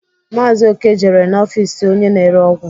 Maazi Oke jere n'ọfịs onye na-ere ọgwụ.